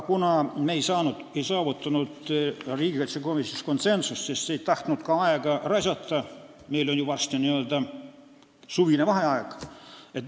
Kuna me ei saavutanud riigikaitsekomisjonis konsensust, siis me ei tahtnud aega raisata – meil on ju varsti n-ö suvine vaheaeg.